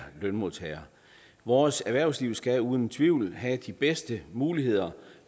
lønmodtagere vores erhvervsliv skal uden tvivl have de bedste muligheder